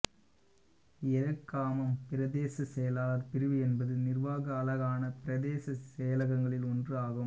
இறக்காமம் பிரதேச செயலாளர் பிரிவு என்பது நிர்வாக அலகான பிரதேச செயலகங்களில் ஒன்று ஆகும்